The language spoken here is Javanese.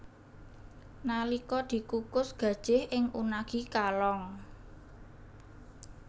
Nalika dikukus gajih ing unagi kalong